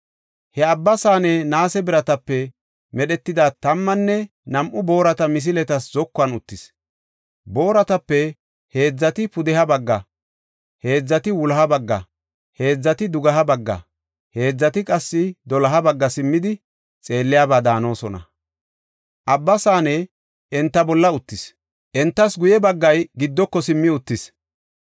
He Abba Saane naase biratape medhetida tammanne nam7u boorata misiletas zokuwan uttis. Booratape heedzati pudeha bagga, heedzati wuloha bagga, heedzati dugeha bagga, heedzati qassi doloha bagga simmidi xeelliyaba daanosona. Abba Saane enta bolla uttis; entaasi guye baggay giddoko simmi uttis.